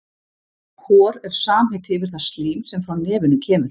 Hor er samheiti yfir það slím er frá nefinu kemur.